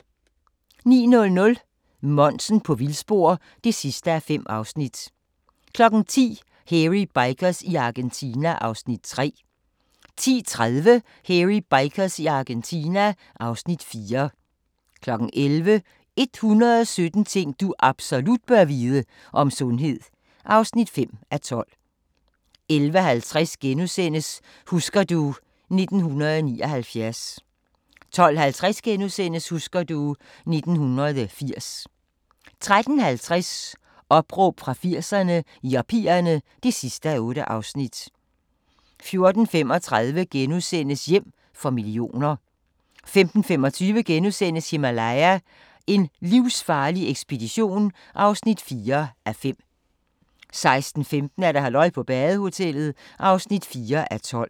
09:00: Monsen på vildspor (5:5) 10:00: Hairy Bikers i Argentina (Afs. 3) 10:30: Hairy Bikers i Argentina (Afs. 4) 11:00: 117 ting du absolut bør vide - om sundhed (5:12) 11:50: Husker du ... 1979 * 12:50: Husker du ... 1980 * 13:50: Opråb fra 80'erne – Yuppierne (8:8) 14:35: Hjem for millioner * 15:25: Himalaya: en livsfarlig ekspedition (4:5)* 16:15: Halløj på badehotellet (4:12)